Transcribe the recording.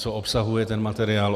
Co obsahuje ten materiál?